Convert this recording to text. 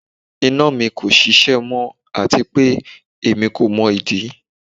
Ina mi ko ṣiṣẹ mọ ati pe emi ko mọ idi